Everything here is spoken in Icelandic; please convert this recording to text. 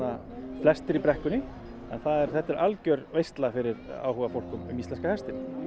flestir í brekkunni þetta er algjör veisla fyrir áhugafólk um íslenska hestinn